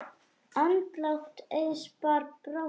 Andlát Eiðs bar brátt að.